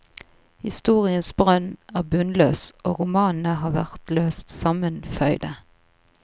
Historiens brønn er bunnløs, og romanene har vært løst sammenføyde.